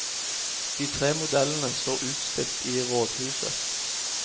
De tre modellene står utstilt i rådhuset.